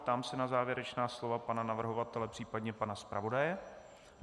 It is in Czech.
Ptám se na závěrečná slova pana navrhovatele, případně pana zpravodaje.